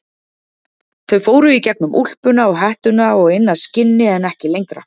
Þau fóru í gegnum úlpuna og hettuna og inn að skinni en ekki lengra.